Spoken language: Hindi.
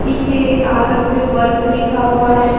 पीछे लाल रंग में वर्क लिखा हुआ हैं।